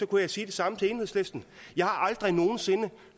kunne jeg sige det samme til enhedslisten jeg har aldrig nogen sinde